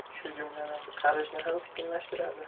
Shu jumladan, qarishni ham sekinlashtiradi.